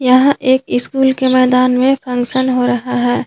यह एक स्कूल के मैदान में फंक्शन हो रहा हैं।